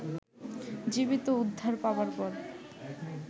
জীবিত উদ্ধার পাবার পর